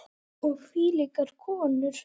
Og hvílíkar konur!